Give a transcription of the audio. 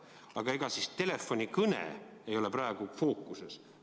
Aga ega siis telefonikõne ei ole praegu fookuses.